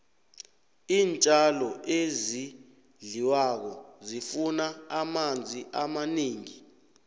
iintjalo ezidliwako zifuna amanzi amanengi